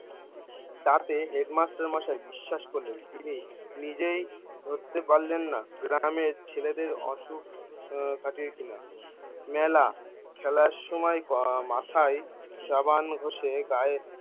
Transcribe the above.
তাতে হেডমাস্টার মশাই বিশ্বাস করলেন তিনি নিজেই ধরতে পারলেন না গ্রামে ছেলেদের অসুখ আহ কিনা মেলা খেলার সময় আহ মাথায় সাবান ঘোষে গাঁয়ে